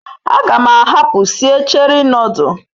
A gam ahapu sie Cheri nodul